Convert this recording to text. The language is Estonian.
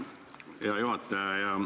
Hea juhataja!